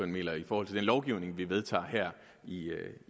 mener i forhold til den lovgivning vi vedtager her i